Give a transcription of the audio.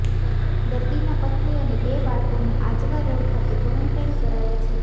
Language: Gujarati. દર્દીના પત્ની અને બે બાળકોને આજવા રોડ ખાતે કોરેન્ટાઇન કરાયા છે